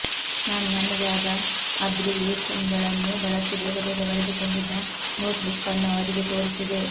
ನಾನು ನನ್ನದೇ ಆದ ಅಬ್ರಿವಿಯೇಶನ್ಗಳನ್ನು ಬಳಸಿ ಬೇಗಬೇಗ ಬರೆದುಕೊಂಡಿದ್ದ ನೋಟ್ಬುಕ್ಕನ್ನು ಅವರಿಗೆ ತೋರಿಸಿದೆ